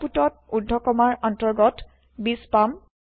আওতপুতত ঊৰ্ধ কমাৰ অন্তৰ্গত ২০ পাম